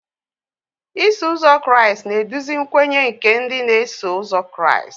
Iso ụzọ Kraịst na-eduzi nkwenye nke ndị na-eso ụzọ Kraịst.